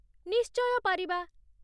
ନିଶ୍ଚୟ ପାରିବା।